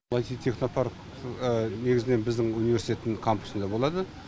бұл аити технопарк негізінен біздің университеттің кампусында болады